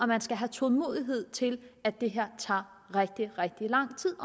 man skal have tålmodighed til at det her tager rigtig rigtig lang tid